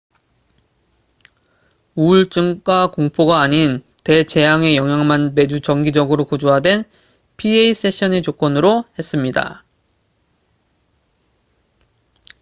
우울증과 공포가 아닌 대재앙의 영향만 매주 정기적으로 구조화된 pa 세션의 조건으로 했습니다